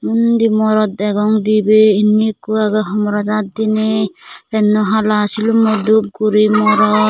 undi morot degong dibey indi ikko agey homorot aat diney penno hala silummo dup guri morot.